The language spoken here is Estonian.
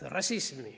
Rassism.